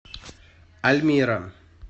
альмира